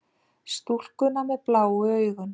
Stúlkuna með bláu augun.